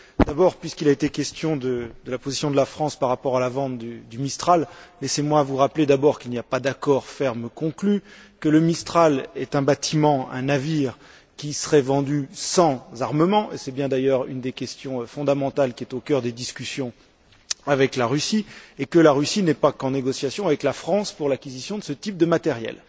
D'abord, puisqu'il a été question de la position de la France par rapport à la vente du Mistral, laissez moi vous rappeler qu'aucun accord ferme n'a été conclu, que le Mistral est un bâtiment, un navire qui serait vendu sans armements et c'est bien d'ailleurs une des questions fondamentales qui est au cœur des discussions avec la Russie et que la Russie n'est pas en négociation qu'avec la France pour l'acquisition de ce type de matériel.